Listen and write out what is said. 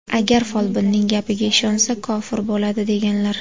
Agar folbinning gapiga ishonsa, kofir bo‘ladi” , deganlar.